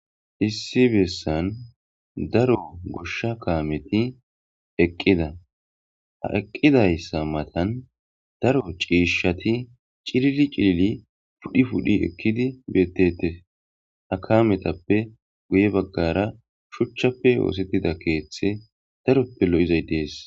issi bessan daro goshsha kaameti eqqida ha eqqidayssa matan daro ciishshati cilili cilili pudhi pudhi ekkidi bettete ha kametappe guye baggara shuchchappe oosettida keeththe daroppe lo7izay dees